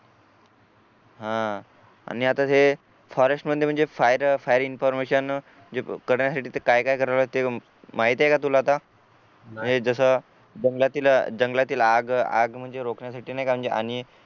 हा आणि आता हे फॉरेस्ट म्हटलं म्हणजे फायर फायर इंफॉर्मेशन जे करायला हवे ते काय काय करायला हवे ते माहिती आहे का तुला आता हे जसं जंगलातील जंगलातील आग आग म्हणजे रोखण्यासाठी नाही का म्हणजे अनेक